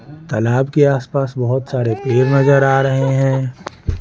तालाब के आसपास बहुत सारे पेर नजर आ रहे हैं।